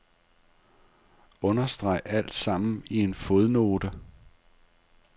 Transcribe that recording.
Understreg alt sammen i en fodnote.